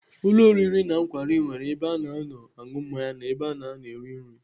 Ụlọ oriri na nkwari nwere ebe ana anọ aṅụ mmanya na ebe ana anọ eri nri.